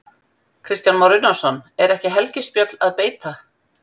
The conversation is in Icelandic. Kristján Már Unnarsson: Er ekki helgispjöll að beita?